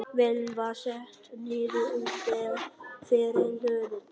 Vélin var sett niður úti fyrir hlöðudyrum.